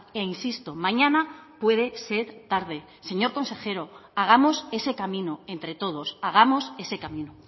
e insisto mañana puede ser tarde señor consejero hagamos ese camino entre todos hagamos ese camino